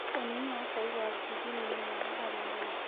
Ũnyũĩĩ wa chaĩ wa ngirini nĩ mwega harĩ ũgima